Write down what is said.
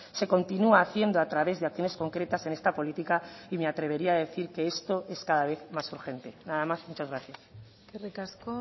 se continúa haciendo a través de acciones concretas en esta política y me atrevería a decir que esto es cada vez más urgente nada más muchas gracias eskerrik asko